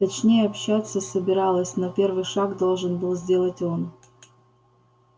точнее общаться собиралась но первый шаг должен был сделать он